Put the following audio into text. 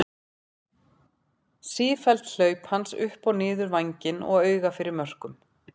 Sífelld hlaup hans upp og niður vænginn og auga fyrir mörkum.